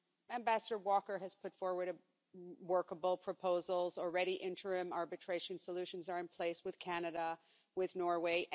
Ambassador Walker has put forward workable proposals and already interim arbitration solutions are in place with Canada and Norway.